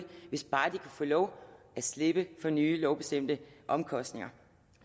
hvis bare man kan få lov at slippe for nye lovbestemte omkostninger